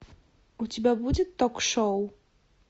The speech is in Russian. у тебя будет ток шоу